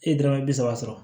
E ye dɔrɔmɛ bi saba sɔrɔ